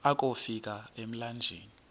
akofi ka emlanjeni